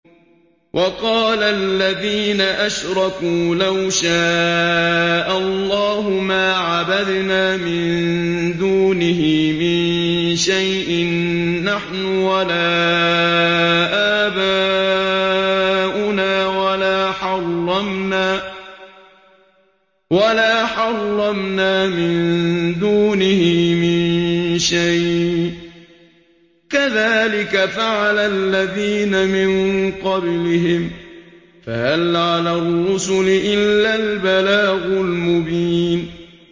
وَقَالَ الَّذِينَ أَشْرَكُوا لَوْ شَاءَ اللَّهُ مَا عَبَدْنَا مِن دُونِهِ مِن شَيْءٍ نَّحْنُ وَلَا آبَاؤُنَا وَلَا حَرَّمْنَا مِن دُونِهِ مِن شَيْءٍ ۚ كَذَٰلِكَ فَعَلَ الَّذِينَ مِن قَبْلِهِمْ ۚ فَهَلْ عَلَى الرُّسُلِ إِلَّا الْبَلَاغُ الْمُبِينُ